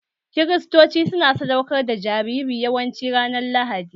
Kiristoci su na sadaukar da jariri yawanci ranar Lahadi